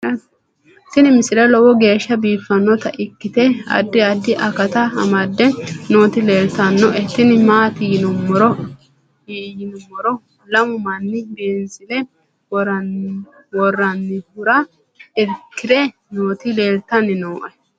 tini misile lowo geeshsha biiffannota ikkite addi addi akata amadde nooti leeltannoe tini maati yiniro lamu manni beenzile worrannihura irkkirre nooti leeltanni nooe